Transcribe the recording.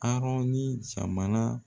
Arɔn ye jamana